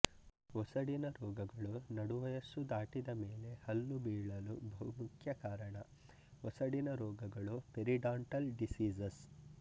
ಒಸಡಿನ ರೋಗಗಳು ನಡು ವಯಸ್ಸು ದಾಟಿದ ಮೇಲೆ ಹಲ್ಲು ಬೀಳಲು ಬಹುಮುಖ್ಯ ಕಾರಣ ಒಸಡಿನ ರೋಗಗಳು ಪೆರಿಡಾಂಟಲ್ ಡಿಸೀಸಸ್